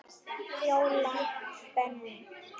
Fjóla Benný.